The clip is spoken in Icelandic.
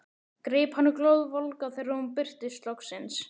Greip hana glóðvolga þegar hún birtist loksins.